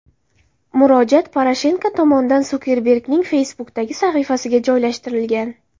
Murojaat Poroshenko tomonidan Sukerbergning Facebook’dagi sahifasiga joylashtirilgan .